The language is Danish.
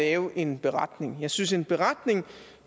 at lave en beretning jeg synes at en beretning er